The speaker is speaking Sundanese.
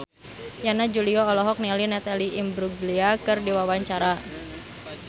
Yana Julio olohok ningali Natalie Imbruglia keur diwawancara